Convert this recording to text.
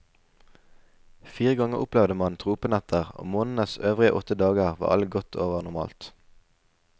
Fire ganger opplevde mane tropenetter, og månedens øvrige åtte dager var alle godt over normalt.